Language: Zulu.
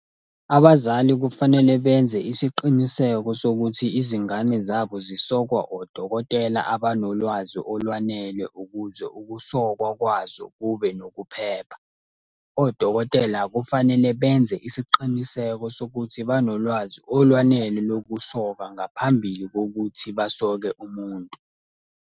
Abazali kufanele benze isiqiniseko sokuthi izingane zabo zisokwa odokotela abanolwazi olwanele ukuze ukusokwa kwazo kube nokuphepha. Odokotela kufanele benze isiqiniseko sokuthi banolwazi olwanele lokusoka ngaphambili kokuthi basoke umuntu.